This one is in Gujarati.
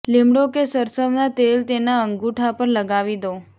લીમડો કે સરસવના તેલ તેના અંગૂઠા પર લગાવી દો